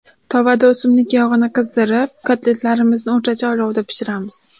Tovada o‘simlik yog‘ini qizdirib, kotletlarimizni o‘rtacha olovda pishiramiz.